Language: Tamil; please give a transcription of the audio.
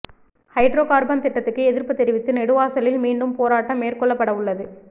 ஹைட்ரோ கார்பன் திட்டத்துக்கு எதிர்ப்பு தெரிவித்து நெடுவாசலில் மீண்டும் போராட்டம் மேற்கொள்ளப்படவுள்ளது